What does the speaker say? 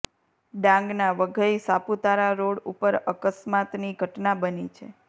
ડાંગના વઘઇ સાપુતારા રોડ ઉપર અકસ્મતાની ઘટના બની છે